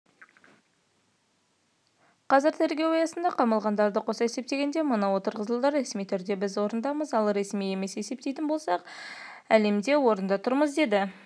қазір тергеу аясында қамалғандарды қоса есептегенде мыңы отырғызылды ресми түрде біз орындамыз ал ресми емес есептейтін болсақ әлемде орында тұрмыз деді